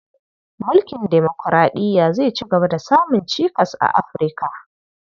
Mulkin demokuraɗiya zai cigaba da samun cikas a Afi, rka.